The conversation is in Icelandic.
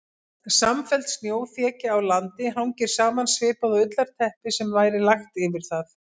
Samfelld snjóþekja á landi hangir saman svipað og ullarteppi sem væri lagt yfir það.